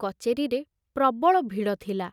କଚେରୀରେ ପ୍ରବଳ ଭିଡ଼ ଥିଲା।